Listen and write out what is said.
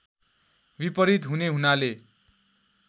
विपरीत हुने हुनाले